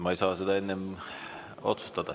Ma ei saa seda enne otsustada.